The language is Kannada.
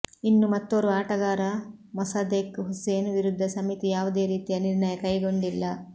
ಇನ್ನು ಮತ್ತೋರ್ವ ಆಟಗಾರ ಮೊಸದೆಕ್ ಹುಸೇನ್ ವಿರುದ್ಧ ಸಮಿತಿ ಯಾವುದೇ ರೀತಿಯ ನಿರ್ಣಯ ಕೈಗೊಂಡಿಲ್ಲ